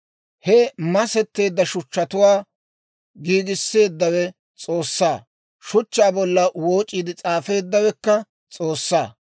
He masetteedda shuchchatuwaa giigisseeddawe S'oossaa; shuchchaa bolla wooc'iide s'aafeeddawekka S'oossaa.